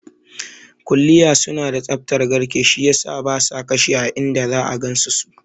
Kuliya suna da tsaftar garke, shi yasa basa kashi inda za'a gansu su